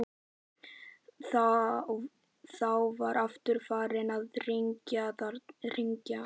Þá var aftur farið að rigna.